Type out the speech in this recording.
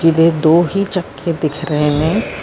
ਦੇ ਦੋ ਹੀ ਚੱਕ ਕੇ ਦਿਖ ਰਹੇ ਨੇ।